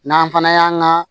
N'an fana y'an ka